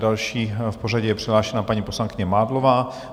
Další v pořadí je přihlášena paní poslankyně Mádlová.